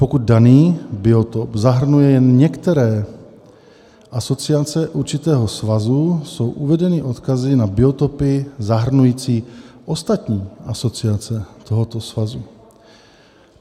Pokud daný biotop zahrnuje jen některé asociace určitého svazu, jsou uvedeny odkazy na biotopy zahrnující ostatní asociace tohoto svazu.